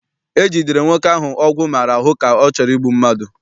E jidere nwoke ahụ ọgwụ maara ahụ ka ọ chọrọ igbu mmadụ.